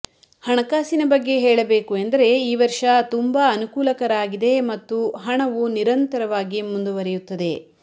ಹಣಕಾಸಿನ ಬಗ್ಗೆ ಹೇಳಬೇಕು ಎಂದರೆ ಈ ವರ್ಷ ತುಂಬಾ ಅನುಕೂಲಕರ ಆಗಿದೆ ಮತ್ತು ಹಣವು ನಿರಂತರವಾಗಿ ಮುಂದುವರೆಯುತ್ತದೆ